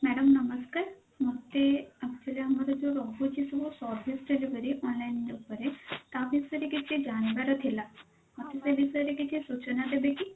madam ନମସ୍କାର ମୋତେ actually ଆମର ଯଉ ରହୁଛି ସବୁ service ଉପରେ online ଉପରେ ତା ବିଷୟ ରେ କିଛି ଜାଣିବାର ଥିଲା ମୋତେ ସେ ବିଷୟରେ କିଛି ସୂଚନା ଦେବେ କି?